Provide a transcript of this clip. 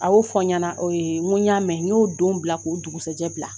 A y'o fɔ n ɲɛna n ko n y'a mɛn n y'o don bila k'o dugusajɛ bila